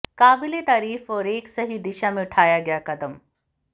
काबिलेतारीफ और एक सही दिशा में उठाया गया कदम